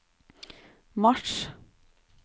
mars